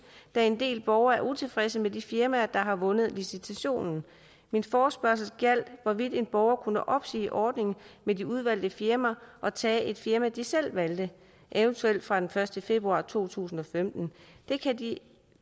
da en del borgere er utilfredse med de firmaer der har vundet licitationen min forespørgsel gjaldt hvorvidt en borger kunne opsige ordningen med de udvalgte firmaer og tage et firma de selv valgte eventuelt fra den første februar to tusind og femten